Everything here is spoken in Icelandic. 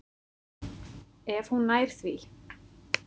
Ef hún nær því.